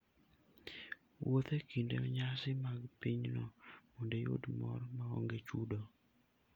Wuoth e kinde nyasi mag pinyno mondo iyud mor maonge chudo.